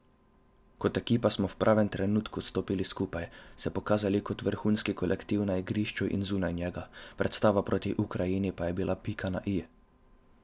Kot ekipa smo v pravem trenutku stopili skupaj, se pokazali kot vrhunski kolektiv na igrišču in zunaj njega, predstava proti Ukrajini pa je bila pika na i.